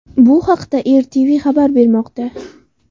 Bu haqda RTV xabar bermoqda .